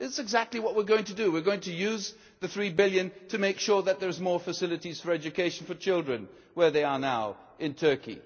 This is exactly what we are going to do we are going to use the EUR 3 billion to make sure that there are more facilities for education for children where they are now in Turkey.